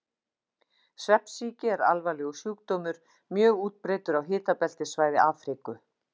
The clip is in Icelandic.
Svefnsýki er alvarlegur sjúkdómur, mjög útbreiddur á hitabeltissvæði Afríku.